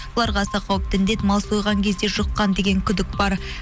оларға аса қауіпті індет мал сойған кезде жұққан деген күдік бар